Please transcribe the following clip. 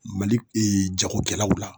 Mali ee jagokɛlaw la